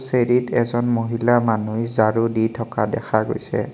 চিৰিত এজন মহিলা মানুহই জাৰু দি থকা দেখা গৈছে।